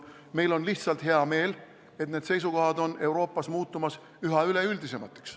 Meil on hea meel, et need seisukohad on Euroopas muutumas üha üleüldisemaks.